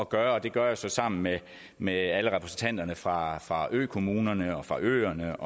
gøre og det gør jeg så sammen med med alle repræsentanterne fra fra økommunerne og fra øerne